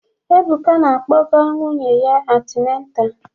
Ebuka na-akpọga nwunye ya antineta